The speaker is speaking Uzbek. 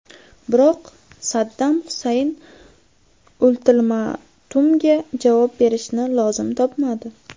Biroq Saddam Husayn ultimatumga javob berishni lozim topmadi.